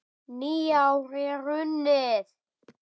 Nýár er runnið!